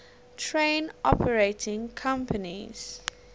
train operating companies